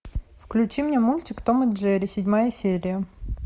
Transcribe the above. включи мне мультик том и джерри седьмая серия